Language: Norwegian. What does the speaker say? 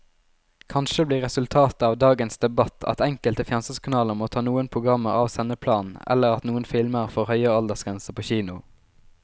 Kanskje blir resultatet av dagens debatt at enkelte fjernsynskanaler må ta noen programmer av sendeplanen eller at noen filmer får høyere aldersgrense på kino.